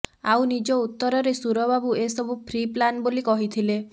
ଆଉ ନିଜ ଉତ୍ତରରେ ସୁରବାବୁ ଏ ସବୁ ପ୍ରି ପ୍ଲାନ୍ ବୋଲି କହିଥିଲେ